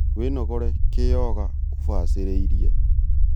Wĩnogore kĩ yoga ũbacĩrĩirie